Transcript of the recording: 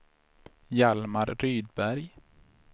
Hjalmar Rydberg